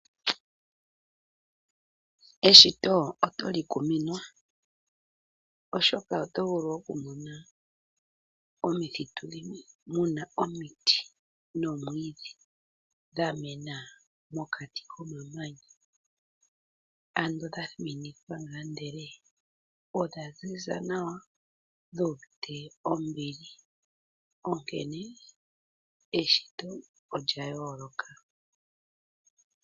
Eshito oto li kuminwa, oshoka oto vulu oku mona omithitu dhimwe muna omiti nomwiidhi dha mena mokati komamanya, ano dha thiminikwa ngaa ndele odha zi za nawa dhuuvite ombili, onkene eshito olya yooloka.